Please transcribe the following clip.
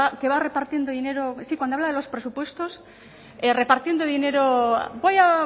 que va repartiendo dinero sí cuando habla de los presupuestos repartiendo dinero voy a